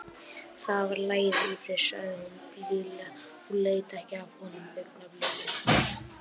Það var lagið, Úri, sagði hún blíðlega og leit ekki af honum augnablik.